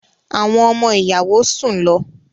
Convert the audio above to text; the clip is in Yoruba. Àwọn ọmọ-ìyàwó sùn lọ.